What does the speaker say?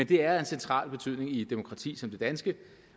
det er af central betydning i et demokrati som det danske